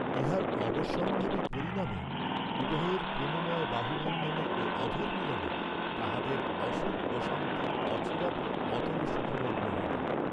ইহার অবশ্যম্ভাবী পরিণামে উভয়ের প্রেমময় বাহুবন্ধনে ও অধরমিলনে তাঁহাদের অসুখঅশান্তি অচিরাৎ অতলসুখমগ্ন হইল।